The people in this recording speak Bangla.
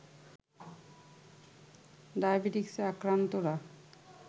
ডায়াবেটিকসে আক্রান্তরা